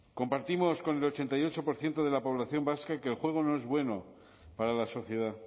compartimos con el ochenta y ocho por ciento de la población vasca que el juego no es bueno para la sociedad